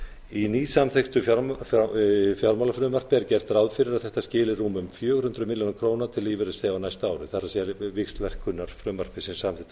í nýsamþykktu fjárlagafrumvarpi er gert ráð fyrir að þetta skili rúmum fjögur hundruð milljóna króna til lífeyrisþega á næsta ári það víxlverkunarfrumvarpi sem samþykkt var